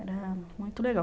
Era muito legal.